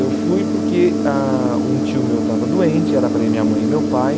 Eu fui porque ah um tio meu estava doente, era para ir minha mãe e meu pai.